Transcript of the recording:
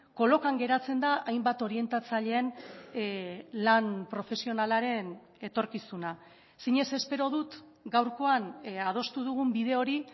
kolokan geratzen da hainbat orientatzaileen lan profesionalaren etorkizuna zinez espero dut gaurkoan adostu dugun bide hori